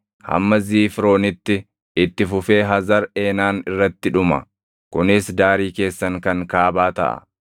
hamma Ziifronitti itti fufee Hazar Eenaan irratti dhuma. Kunis daarii keessan kan kaabaa taʼa.